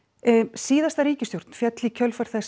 síðasta ríkisstjórn féll í kjölfar þess